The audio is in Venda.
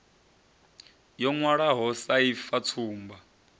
yo ṅwalwaho sa ifa tsumbo